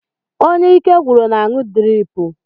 Onye ike gwụrụ na-aṅụ driipu.